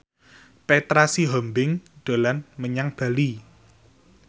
Petra Sihombing dolan menyang Bali